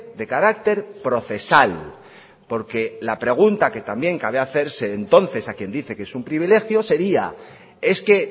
de carácter procesal porque la pregunta que también cabe hacerse entonces a quien dice que es un privilegio sería es que